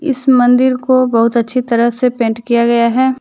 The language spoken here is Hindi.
इस मंदिर को बहुत अच्छी तरह से पेंट किया गया है।